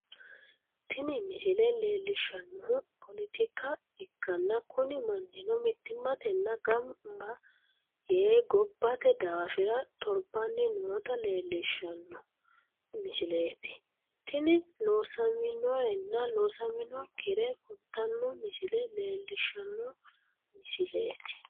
tini misile leellishshannohu, politika ikkanna, kuni mannino mittimmatenni gamba yee gobbate daafira torbanni noota leellishshanno misileeti, tini loosaminorenna loosaminokkire kultanno misile leellishshanno misileeti.